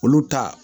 Olu ta